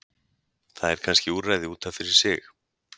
Það er kannske úrræði út af fyrir sig.